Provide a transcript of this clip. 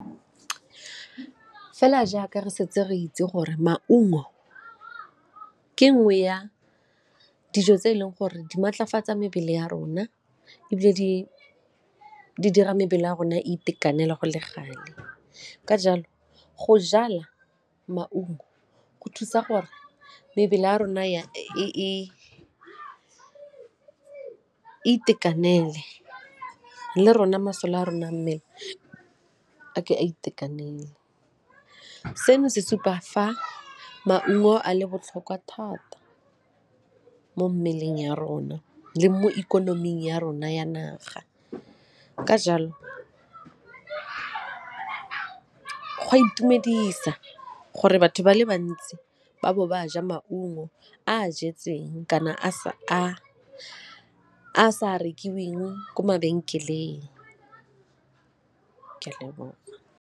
Fela jaaka re setse re itse gore maungo ke nngwe ya dijo tse e leng gore di maatlafatsa mebele ya rona ebile di dira mebele ya rona itekanela go le gale ka jalo go jala maungo go thusa gore mebele ya rona e itekanele le rona masole a rona a mmele a ke a itekanele. Seno se supa fa maungo a le botlhokwa thata mo mmeleng ya rona le mo ikonoming ya rona ya naga, ka jalo go a itumedisa gore batho ba le bantsi ba bo ba a ja maungo a a jetseng kana a a sa rekilweng ko mabenkeleng.